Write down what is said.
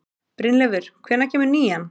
Brynleifur, hvenær kemur nían?